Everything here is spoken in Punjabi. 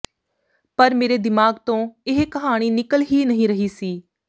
ਪਰ ਮੇਰੇ ਦਿਮਾਗ ਤੋਂ ਇਹ ਕਹਾਣੀ ਨਿਕਲ ਹੀ ਨਹੀਂ ਰਹੀ ਸੀ